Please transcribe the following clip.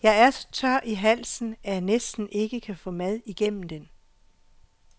Jeg er så tør i halsen, at jeg næsten ikke kan få mad igennem den.